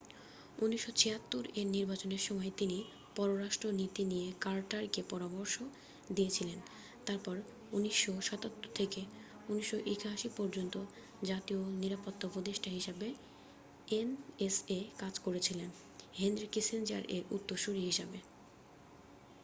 1976 এর নির্বাচনের সময় তিনি পররাষ্ট্র নীতি নিয়ে কার্টার কে পরামর্শ দিয়েছিলেন তারপর 1977 থেকে 1981 পর্যন্ত জাতীয় নিরাপত্তা উপদেষ্টা হিসাবে এনএসএ কাজ করেছিলেন হেনরি কিসিঞ্জার এর উত্তরসূরী হিসেবে।